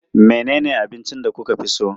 Menene abincin da kuka fi so?